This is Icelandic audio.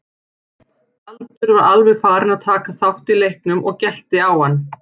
Galdur var alveg farinn að taka þátt í leiknum og gelti á hann.